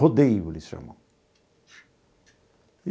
Rodeio eles chamam.